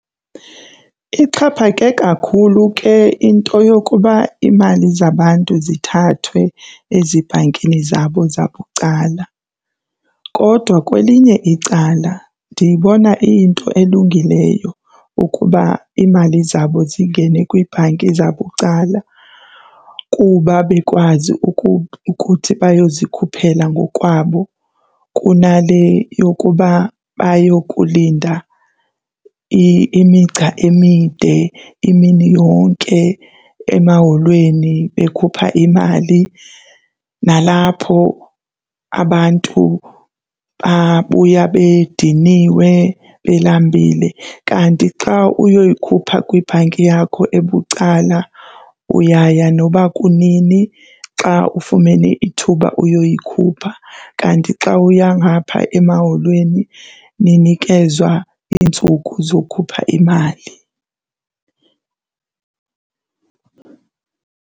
Ixhaphake kakhulu ke into yokuba iimali zabantu zithathwe ezibhankini zabo zabucala kodwa kwelinye icala ndiyibona iyinto elungileyo ukuba iimali zabo zingene kwiibhanki zabucala kuba bekwazi ukuthi bayozikhuphela ngokwabo kunale yokuba bayokulinda imigca emide imini yonke emaholweni bekhupha imali nalapho abantu babuya bediniwe belambile. Kanti xa uyoyikhupha kwibhanki yakho ebucala, uyaya noba kunini xa ufumene ithuba uyoyikhupha. Kanti xa uya ngapha emaholweni ninikezwa iintsuku zokhupha imali.